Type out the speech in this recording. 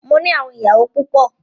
Mó ní àwọn ìyàwó púpọ.